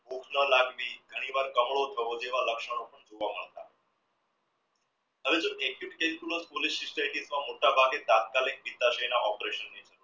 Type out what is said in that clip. ભૂખ ના લાગવી ઘણીવાર કમળો થવો જેવા લક્ષણો તાત્કાલિક મોટાભાગે operation